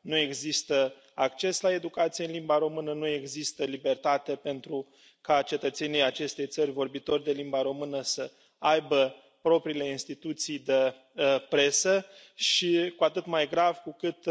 Nu există acces la educație în limba română, nu există libertate pentru ca cetățenii acestei țări vorbitori de limba română să aibă propriile instituții de presă și este cu atât mai grav cu cât